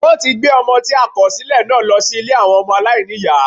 Wọ́n ti gbé Ọmọ tí a kòsílẹ̀ náà lọ sí Ilé àwọn ọmọ aláìníìyá